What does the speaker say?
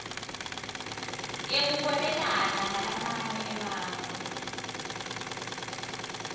yekuhwebelana nalamanye emave